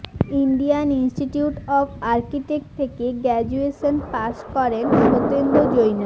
Indian Institute of Architect থেকে graduation পাশ করেন সত্যেন্দ্র জৈন